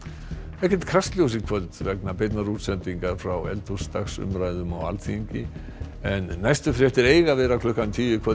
ekkert Kastljós í kvöld vegna beinnar útsendingar frá eldhúsdagsumræðum á Alþingi en næstu fréttir eiga að vera klukkan tíu í kvöld